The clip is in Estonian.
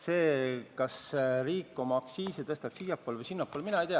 See, kas riik oma aktsiise tõstab siiapoole või sinnapoole, mõjub vähem.